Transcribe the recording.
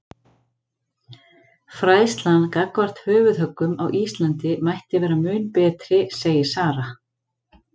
Fræðslan gagnvart höfuðhöggum á Íslandi mætti vera mun betri segir Sara.